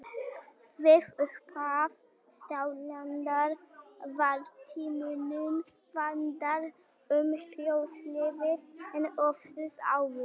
Við upphaf styrjaldar var Tímanum vandara um hlutleysið en oftast áður.